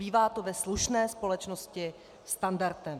Bývá to ve slušné společnosti standardem.